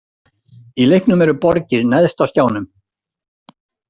Í leiknum eru borgir neðst á skjánum.